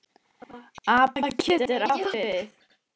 APA getur átt við